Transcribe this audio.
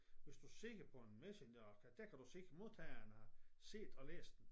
Hvis du ser på en messenger der kan du se at modtageren har set og læst den